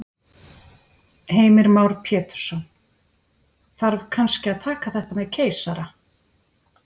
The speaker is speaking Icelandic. Heimir Már Pétursson: Þarf kannski að taka þetta með keisara?